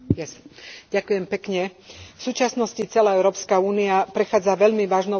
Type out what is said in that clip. V súčasnosti celá Európska únia prechádza veľmi vážnou skúškou, ktorú nezvláda.